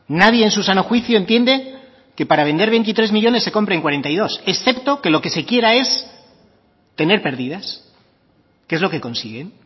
nadie en su sano juicio entiende que para vender veintitrés millónes se compren cuarenta y dos excepto que lo que se quiera es tener pérdidas que es lo que consiguen